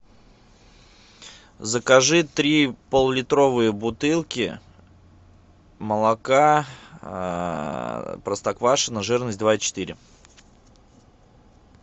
закажи три поллитровые бутылки молока простоквашино жирность два и четыре